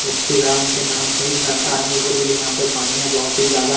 ए श्री राम के नाम से हीच बहता हैं इसलिए यहाँ पे पानिया बहोत ही ज्यादा--